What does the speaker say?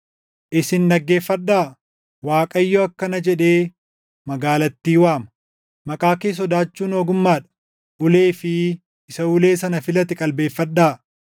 Isin dhaggeeffadhaa! Waaqayyo akkana jedhee magaalattii waama: Maqaa kee sodaachuun ogummaa dha; “Ulee fi Isa ulee sana filate qalbeeffadhaa.